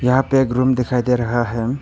यहां पे एक रूम दिखाई दे रहा हैं।